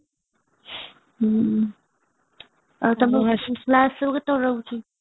ଆଉ ତମ hostel class ସବୁ କେତେବେଳେ ରହୁଛି